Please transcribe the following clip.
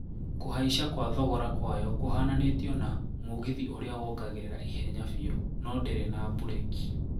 Kuhaisha kwa thogora kwayo kuhananitio na "mugithi uria wongagirira ihenya biũ noo ndiri na bureki."